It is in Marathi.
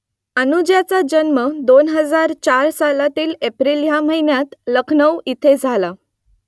अनुजाचा जन्म दोन हजार चार सालातील एप्रिल या महिन्यात लखनऊ इथे झाला